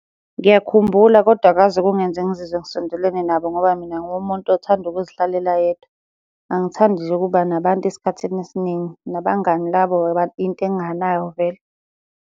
Ngiyakhumbula kodwa akaze kungenze ngizizwe ngisondelene nabo ngoba mina ngumuntu othanda ukuzihlalela yedwa. Angithandi nje ukuba nabantu esikhathini esiningi, nabangani labo yinto enginganayo vele.